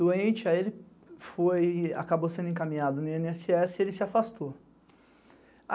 Doente, aí ele acabou sendo encaminhado no ieneesseesse e ele se afastou.